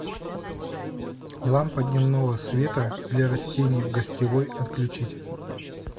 лампа дневного света для растений в гостевой отключить